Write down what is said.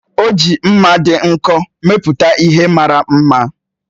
O ji mma dị nkọ mepụta ihe mara mma.